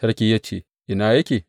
Sarki ya ce, Ina yake?